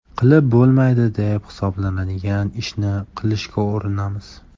Qilib bo‘lmaydi deb hisoblanadigan ishni qilishga urinamiz.